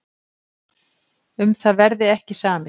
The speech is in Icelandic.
Um það verði ekki samið.